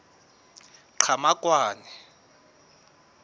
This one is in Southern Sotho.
qhamakwane